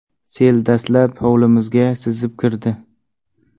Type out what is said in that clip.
Sel dastlab hovlimizga sizib kirdi.